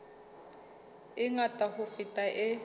e ngata ho feta e